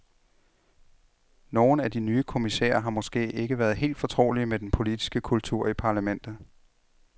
Nogle af de nye kommissærer har måske ikke været helt fortrolige med den politiske kultur i parlamentet.